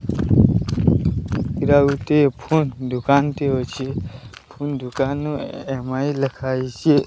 ଇରା ଗୋଟିଏ ଫୋନ୍ ଦୁକାନ୍ ଟେ ଅଛେ। ଫୁନ୍ ଦୁକାନ୍ ରୁ ଏମ୍_ଆଇ ଲେଖା ହେଇଚେ।